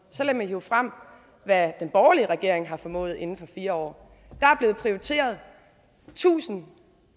så lad mig hive frem hvad den borgerlige regering har formået inden for fire år der er blevet prioriteret tusind